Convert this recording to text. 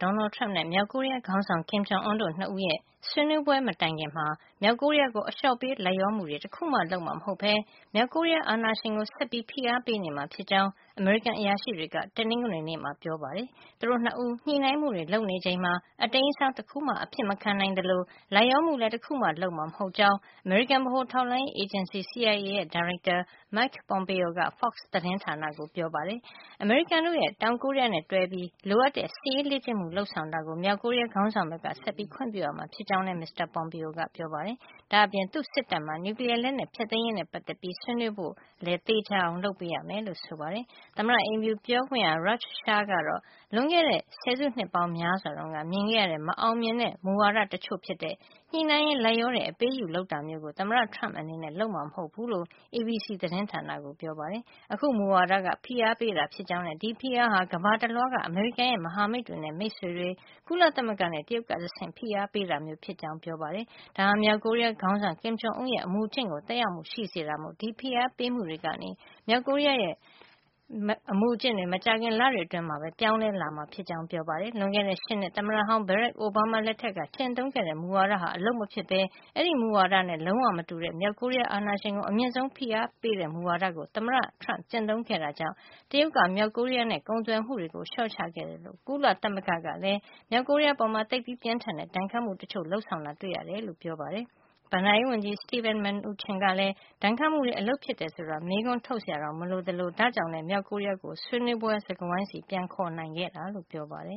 Donald Trump နဲ့ မြောက်ကိုရီးယားခေါင်းဆောင် Kim Jong Un တို့ ၂ ဦးရဲ့ ဆွေးနွေးပွဲမတိုင်ခင်မှာ မြောက်ကိုရီးယားကို အလျော့ပေးလိုက်လျောမှု တခုမှ လုပ်မှာမဟုတ်ပဲ မြောက်ကိုရီးယားအာဏာရှင်ကို ဆက်ပြီးဖိအားပေးနေမှာ ဖြစ်ကြောင်း အမေရိကန်အရာရှိတွေက တနင်္ဂနွေနေ့မှာ ပြောကြားကြပါတယ်။ သူတို့ ၂ ဦး ညှိနှိုင်းမှုတွေ လုပ်နေချိန်မှာ အတိမ်းအစောင်းတခုမှ အဖြစ်မခံနိုင်သလို လိုက်လျောမှုလည်း တခုမှ လုပ်မှာ မဟုတ်ကြောင်း အမေရိကန်ဗဟိုထောက်လှန်းရေး အေဂျင်စီ CIA ဒါရိုက်တာ Mike Pompeo က Fox သတင်းဌာန ကိုပြောပါတယ်။ အမေရိကန်နဲ့ တောင်ကိုရီးယားတွဲပြီး လိုအပ်တဲ့ စစ်ရေးလေ့ကျင့်မှု လုပ်ဆောင်တာကို မြောက်ကိုရီးယားခေါင်းဆောင်ဘက်က ဆက်ပြီး ခွင့်ပြုရမှာ ဖြစ်ကြောင်းလည်း မစ္စတာ Pompeo ကပြောပါတယ်။ ဒါ့အပြင် သူ့စစ်တပ်မှာ နျူကလီယားလက်နက် ဖျက်သိမ်းရေးနဲ့ ပတ်သက်ပြီး ဆွေးနွေးဖို့လည်း သေချာအောင်လုပ်ပေး ရမယ်လို့ဆိုပါတယ်။ သမ္မတအိမ်ဖြူပြောခွင့်ရ Raj Shah ကတော့ လွန်ခဲ့တဲ့ ဆယ်စုနှစ်ပေါင်းများစွာတုန်းက မြင်ခဲ့ရတဲ့ မအာင်မြင်တဲ့ မူဝါဒတချို့ဖြစ်တဲ့ ညှိနှိုင်းရင်း လိုက်လျောတဲ့ အပေးအယူလုပ်တာမျိုးကို သမ္မတ Trump အနေနဲ့ လုပ်ဆောင်မှာမဟုတ်ဘူးလို့ ABC သတင်းဌာနကို ပြောပါတယ်။ အခုမူဝါဒက ဖိအားပေးတာဖြစ်ကြောင်းနဲ့ ဒီဖိအားဟာ ကမ္ဘာတလွှားက အမေရိကန်ရဲ့ မဟာမိတ်နဲ့ မိတ်ဆွေတွေ၊ ကုလသမဂ္ဂနဲ့ တရုတ်ကတဆင့် ဖိအားပေးတာမျိုးဖြစ်ကြောင်းပြောပါတယ်။ ဒါဟာ မြောက်ကိုရီးယား ခေါင်းဆောင် Kim Jong Un ရဲ့ အမူအကျင့်ကို သက်ရောက်မှုရှိတာမို့ ဒီဖိအားပေးမှုတွေကနေ မြောက်ကိုရီးယားရဲ့ အမူအကျင့်တွေ မကြာခင်လတွေအတွင်း ပြောင်းလဲလာမှာ ဖြစ်ကြောင်းပြောပါတယ်။ လွန်ခဲ့တဲ့ ၈ နှစ် သမ္မတဟောင်း Barack Obama လက်ထက်က ကျင့်သုံးခဲ့တဲ့ မူဝါဒဟာ အလုပ်မဖြစ်ဘဲ အဲဒီမူဝါဒနဲ့ လုံးဝမတူတဲ့ မြောက်ကိုရီးယားအာဏာရှင်ကို အမြင့်ဆုံး ဖိအားပေးတဲ့ မူဝါဒကို သမ္မတ Trump ကကျင့်သုံးခဲ့တာကြောင့် တရုတ်က မြောက်ကိုရီးယားနဲ့ ကုန်သွယ်မှုကို လျှော့ချခဲ့သလို ကုလသမဂ္ဂကလည်း မြောက်ကိုရီးယား အပေါ် သိပ်ပြင်းထန်တဲ့ ဒဏ်ခတ်မှုတချို့ လုပ်ဆောင်ခဲ့တာ တွေ့ရတယ်လို့လည်း ပြောပါတယ်။ ဘဏ္ဍာရေးဝန်ကြီး Steven Mnuchin ကလည်း ဒဏ်ခတ်မှုတွေအလုပ်ဖြစ်တယ်ဆိုတာ မေးခွန်းထုတ်စရာတောင် မလိုသလို ဒါ့ကြောင့်လည်း မြောက်ကိုရီးယားကို ဆွေးနွေးပွဲစားပွဲဆီ ပြန်လာအောင် ခေါ်ယူ နိုင်ခဲ့တာလို့ပြောပါတယ